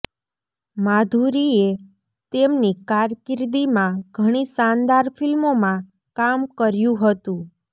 માધુરીએ તેમની કારકિર્દીમાં ઘણી શાનદાર ફિલ્મોમાં કામ કર્યું હતું